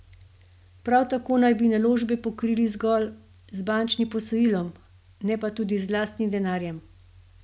Prav tako naj bi naložbe pokrili zgolj z bančnim posojilom, ne pa tudi z lastnim denarjem.